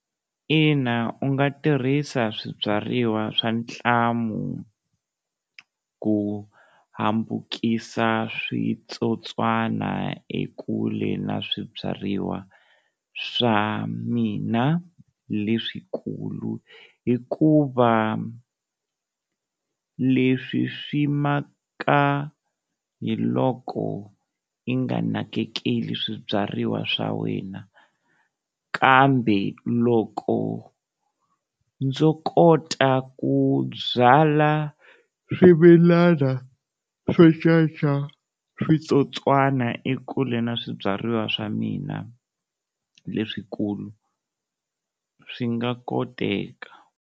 Ina u nga tirhisa swibyariwa swa ntlamu ku hambukisaka switsotswana ekule na swibyariwa swa mina leswikulu, hikuva leswi swi maka hi loko i nga nakekeli swibyariwa swa wena kambe loko ndzo kota ku byala swimilana swo caca switsotswana ekule na swibyariwa swa mina leswikulu swi nga koteka.